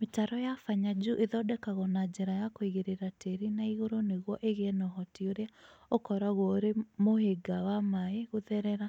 Mĩtaro ya Fanya juu ĩthondekagwo na njĩra ya kũigĩrĩra tĩĩri na igũrũ nĩguo ĩgĩe na ũhoti ũrĩa ũkoragwo ũrĩ mũhĩnga wa maĩ ma gũtherera,